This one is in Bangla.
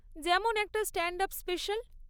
যেমন একটা স্ট্যান্ড আপ স্পেশাল।